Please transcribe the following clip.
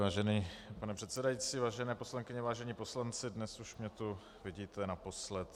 Vážený pane předsedající, vážené poslankyně, vážení poslanci, dnes už mě tu vidíte naposledy.